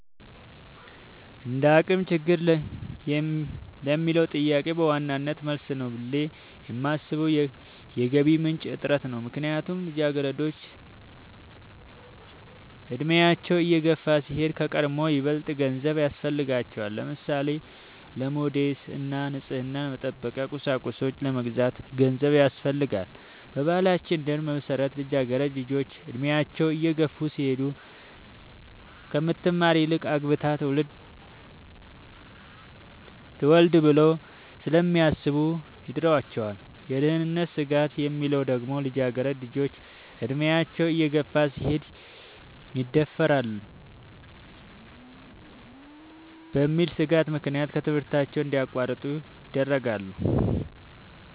እንደአቅም ችግር ለሚለው ጥያቄ በዋናነት መልስ ነው ብሌ የማሥበው የገቢ ምንጭ እጥረት ነው። ምክንያቱም ልጃገረዶች አድሚያቸው እየገፋ ሲሄድ ከቀድሞው ይበልጥ ገንዘብ ያሥፈልጋቸዋል። ለምሳሌ:-ለሞዴስ እና ንፅህናን መጠበቂያ ቁሳቁሶች ለመግዛት ገንዘብ ያሥፈልጋል። በባህላችን ደንብ መሠረት ልጃገረድ ልጆች እድሚያቸው እየገፋ ሲሄድ ከምትማር ይልቅ አግብታ ትውለድ ብለው ስለሚያሥቡ ይድሯቸዋል። የደህንነት ስጋት የሚለው ደግሞ ልጃገረድ ልጆች አድሚያቸው እየገፋ ሲሄድ ይደፈራሉ በሚል ሥጋት ምክንያት ከትምህርታቸው እንዲያቋርጡ ይደረጋሉ።